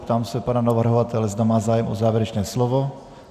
Ptám se pana navrhovatele, zda má zájem o závěrečné slovo.